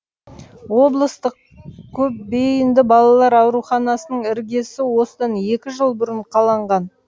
облыстық көпбейінді балалар ауруханасының іргесі осыдан екі жыл бұрын қаланған